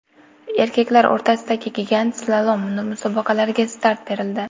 Erkaklar o‘rtasidagi gigant slalom musobaqalariga start berildi.